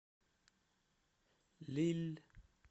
лилль